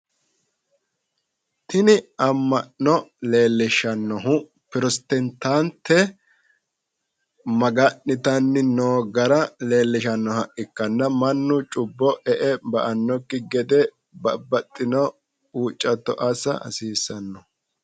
Tini amma'no lellishshannohu protestantte maga'nitanni noo gara leellishannoha ikkanna mannu cubbo e'e ba'annokki gede babaxitino huuccatto assa hasiissanno.